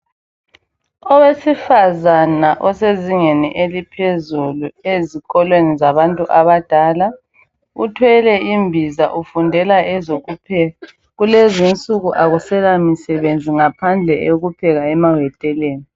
Owesifazana osezingeni eliphezulu ezikolweni zabantu abadala, uthwele imbiza ufundela ezokupheka. Kulezinsuku akuselamisebenzi ngaphandle eyokupheka emaweteleni